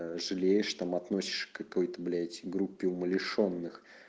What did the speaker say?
аа жалеешь там относишь к какой-то блять группе умалишённых